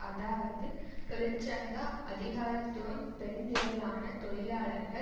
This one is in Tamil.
அதாவது தொழிற்சங்க அதிகாரத்துவம் பெருந்திரளான தொழிலாளர்கள்